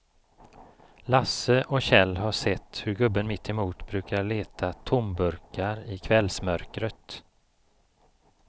Lasse och Kjell har sett hur gubben mittemot brukar leta tomburkar i kvällsmörkret.